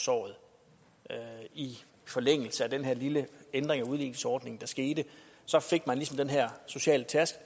såret i forlængelse af den her lille ændring af udligningsordningen der skete fik man ligesom den her sociale